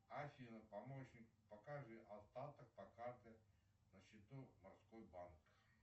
афина помощник покажи остаток по карте на счету морской банк